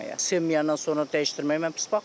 Sevməyəndən sonra dəyişdirmək mən pis baxmıram.